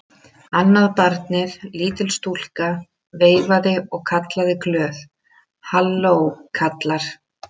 Annað barnið, lítil stúlka, veifaði og kallaði glöð:-Halló kallar!